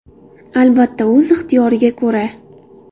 Albatta, o‘z ixtiyoriga ko‘ra...